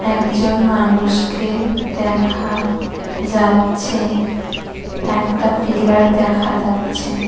একজন মানুষকে দেখা যাচ্ছে একটা পিলার দেখা যাচ্ছে।